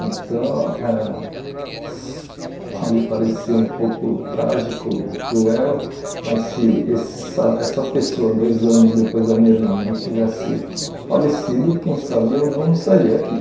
Então ãh pode parecer um pouco trágico, cruel, mas se essa essa pessoa, dois anos depois da minha irmã, não tivesse falecido, quem sabe eu não estaria aqui.